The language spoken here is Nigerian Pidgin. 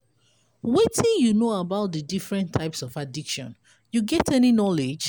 wetin you know about di different types of addiction you get any knowledge?